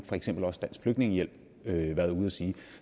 for eksempel også dansk flygtningehjælp været ude at sige